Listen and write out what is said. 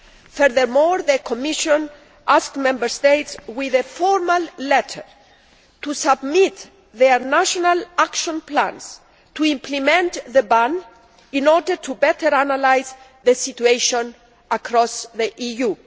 Furthermore, the Commission asked Member States by a formal letter to submit their national action plans to implement the ban in order to better analyse the situation across the EU.